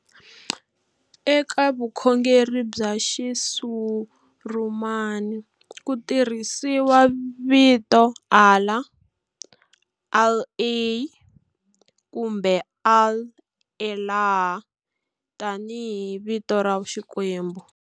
Eka vukhongeri bya Xisurumani, ku tirhisiwa vito Allah, Al-El, kumbe Al-Elah, tani hi vito ra Xikwembu.